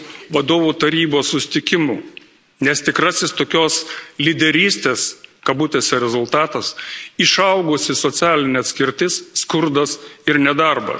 Vadovų Tarybos susitikimu, nes tikrasis tokios lyderystės kabutėse rezultatas išaugusi socialinė atskirtis, skurdas ir nedarbas.